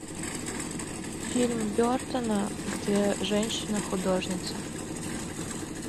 фильм бертона где женщина художница